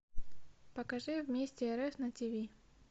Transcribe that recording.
покажи вместе рф на тв